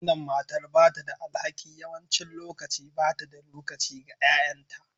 Wannan matar ba ta da alhaki. Yawancin lokaci ba ta da lokaci ga 'ya'yanta